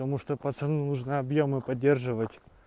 потому что пацаны нужно объёмы поддерживать